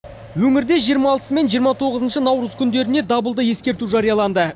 өңірде жиырма алтысы мен жиырма тоғызыншы наурыз күндеріне дабылды ескерту жарияланды